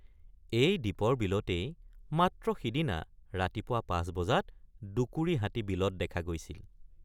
এই দীপৰ বিলতেই মাত্ৰ সিদিনা ৰাতিপুৱা ৫ বজাত দুকুৰি হাতী বিলত দেখা গৈছিল।